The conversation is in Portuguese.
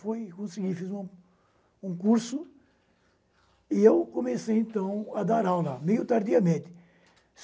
Fui, consegui, fiz um um curso e comecei a dar aula meio tardiamente.